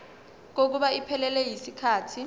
kokuba iphelele yisikhathi